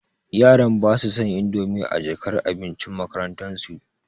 yaran basu son indomi a jakar abincin makarantan su.